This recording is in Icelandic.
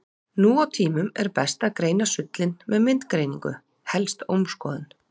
Nú á tímum er best að greina sullinn með myndgreiningu, helst ómskoðun.